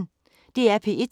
DR P1